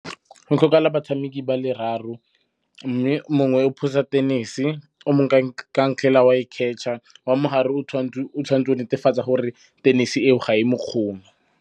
Go tlhokagala batshameki ba le raro. Mme mongwe o phosa tenese, o mongwe ka ntlhela o a e catch-a. Wa mo gare o tshwanetse go netefatsa gore tenese eo ga e mo kgome.